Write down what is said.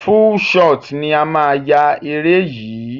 Full shot ni a máa yá eré yìí.